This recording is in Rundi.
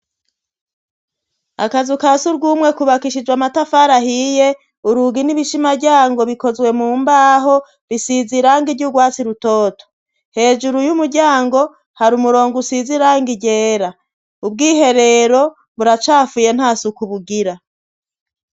Akazu kasurw'umwe kubakishijwe amatafari ahiye, urugi n'ibishimaryango bikozwe mu mbaho bisize irangi ryurwatsi rutoto, hejuru y'umuryango hari umurongo usize irangi ryera, ubwiherero buracafuye nta suku bugira.